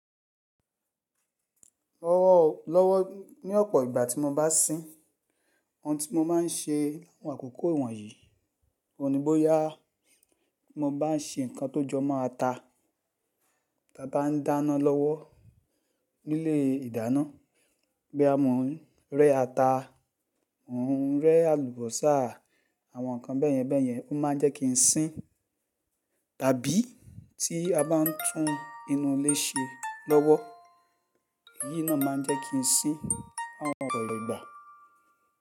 Lọ́wọ́ lọ́wọ́ ní ọ̀pọ̀ ìgbà tí mo bá sín, ohun tí mo má n ṣe láwọn àkókò ìwọ̀nyí, ó ní bóyá mo bá n ṣe ǹkan tó jọmọ ata, ta bá n dáná lọ́wọ́ nílé ìdáná, bí a mo n rẹ́ ata, mò ń rẹ́ àlùbọ́sà àwọn ǹkan bẹ́yẹn bẹ́yẹn ó ma n jẹ́ kí n sín tàbí tí a bá n tún inú ilé ṣe lọ́wọ́, èyí náà ma n jẹ́ kí n sín láwọn ọ̀pọ̀ ìgbà.